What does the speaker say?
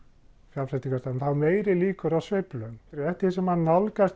fjárfestingarstefnu þá eru meiri líkur á sveiflum eftir því sem maður nálgast